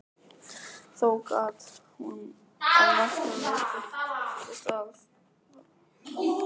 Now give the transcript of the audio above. Þó gat hún að nokkru leyti fallist á að frú